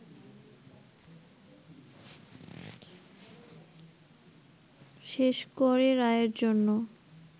শেষ করে রায়ের জন্য